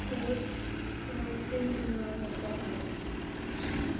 вот пожалуйста деньги мои обратно скинь